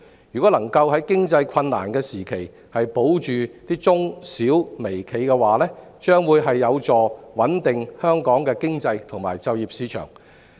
如果能夠在經濟困難時期保住中小微企，將有助穩定香港的經濟及就業市場。